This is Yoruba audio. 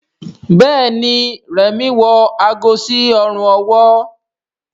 Béèni Remi wọ àgó sí Ọrùn ọwọ́.